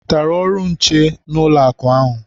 I nwetara ọrụ nche n'ụlọakụ ahụ?